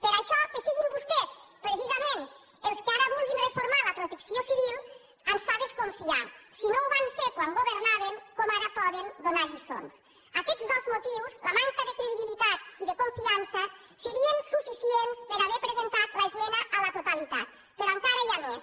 per això que siguin vostès precisament els que ara vulguin reformar la protecció civil ens fa desconfiar si no ho van fer quan governaven com ara poden donar lliçons aquests dos motius la manca de credibilitat i de confiança serien suficients per haver presentat l’esmena a la totalitat però encara hi ha més